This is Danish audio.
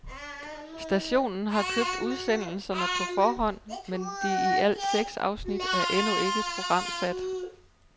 Stationen har købt udsendelserne på forhånd, men de i alt seks afsnit er endnu ikke programsat.